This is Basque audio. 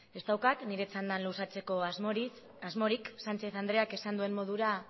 ez daukat nire txanda luzatzeko asmorik sánchez andreak esan duen modura